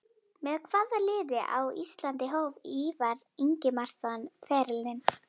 Með hvaða liði á Íslandi hóf Ívar Ingimarsson ferilinn?